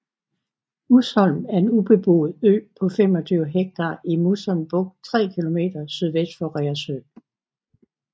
Musholm er en ubeboet ø på 25 ha i Musholm Bugt 3 km sydvest for Reersø